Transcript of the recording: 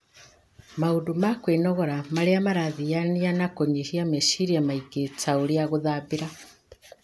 Maũndũ ma kwĩnogora marĩa marathiania na kũnyihia meciria maingĩ, ta ũrĩa gũthambĩra,